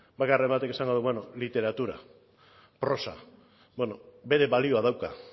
baten batek esango du bueno literatura prosa bueno bere balioa dauka